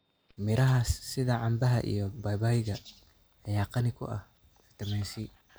Miraha sida canbaha iyo babayga ayaa qani ku ah fitamiin C.